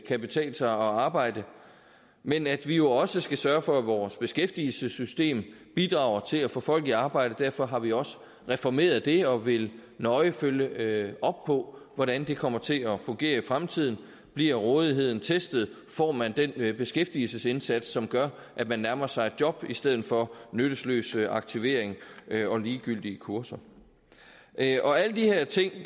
kan betale sig at arbejde men at vi jo også skal sørge for at vores beskæftigelsessystem bidrager til at få folk i arbejde derfor har vi også reformeret det og vil nøje følge op på hvordan det kommer til at fungere i fremtiden bliver rådigheden testet får man den beskæftigelsesindsats som gør at man nærmer sig et job i stedet for nyttesløs aktivering og ligegyldige kurser alle de her ting